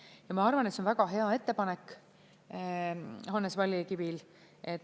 Ja ma arvan, et see on väga hea ettepanek Hannes Vallikivil.